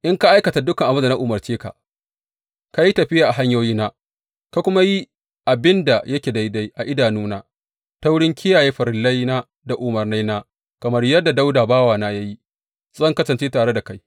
In ka aikata dukan abin da na umarce ka, ka yi tafiya a hanyoyina, ka kuma yi abin da yake daidai a idanuna ta wurin kiyaye farillaina da umarnaina, kamar yadda Dawuda bawana ya yi, zan kasance tare da kai.